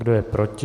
Kdo je proti?